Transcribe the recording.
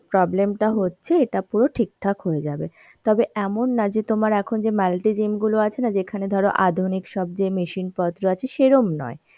problem টা হচ্ছে এটা পুরো ঠিকঠাক হয়ে যাবে. তবে এমন না যে তোমার এখন যে multy gym গুলো আছে না যেখানে ধরো আধুনিক সব যে machine পত্র আছে সেরম নয়.